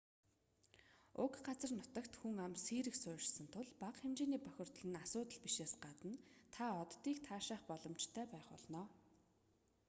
уг газар нутагт хүн ам сийрэг суурьшсан тул бага хэмжээний бохирдол нь асуудал бишээс гадна та оддыг таашаах боломжтой байх болно